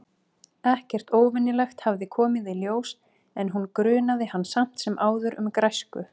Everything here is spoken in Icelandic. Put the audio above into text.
Þetta fikt gat verið í furðu lauslegum tengslum við veruleika fullorðinna.